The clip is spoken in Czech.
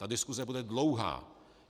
Ta diskuse bude dlouhá.